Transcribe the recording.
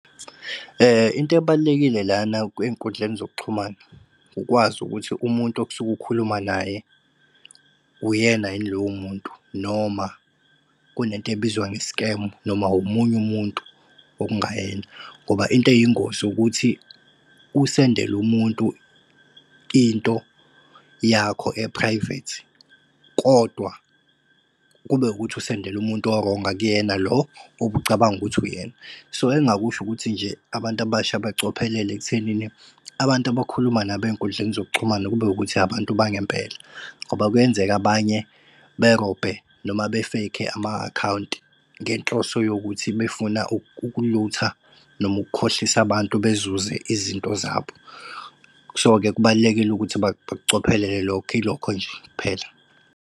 Into ebalulekile lana kwey'nkundleni zokuxhumana, ukwazi ukuthi umuntu okusuke ukhuluma naye uyena yini lowo muntu, noma kunento ebizwa nge-scam, noma omunye umuntu okungayena. Ngoba into eyingozi ukuthi usendele umuntu into yakho e-private, kodwa kube ukuthi usendele umuntu o-wrong, akuyena lo obucabanga ukuthi uyena. So engakusho ukuthi nje abantu abasha bacophelele ekuthenini, abantu abakhuluma nabo ey'nkundleni zokuxhumana, kube ukuthi abantu bangempela. Ngoba kuyenzeka abanye berobhe noma be-fake ama-akhawunti ngenhloso yokuthi befuna ukulutha noma ukukhohlisa abantu bezuze izinto zabo. So-ke kubalulekile ukuthi bakucophelela lokho, ilokho nje kuphela.